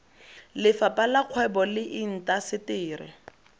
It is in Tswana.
lefapheng la kgwebo le intaseteri